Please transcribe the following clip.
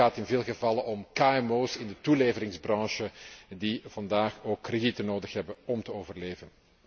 Het gaat in veel gevallen om kmo's in de toeleveringsbranche, die vandaag ook kredieten nodig hebben om te overleven.